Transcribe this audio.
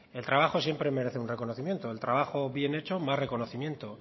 el trabajo siempre merece un reconocimiento el trabajo bien hecho más reconocimiento